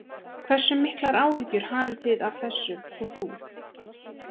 Hversu miklar áhyggjur hafið þið af þessu og þú?